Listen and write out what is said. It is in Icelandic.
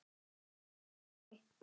Ég hvái.